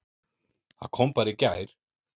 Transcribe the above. Það kom bara í gær!